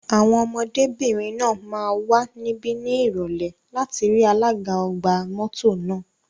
Àwọn ọmọdébìnrin náà máa wà níbí ní Ìrọ̀lẹ́ láti rí alága ọgbà mọ́tò náà.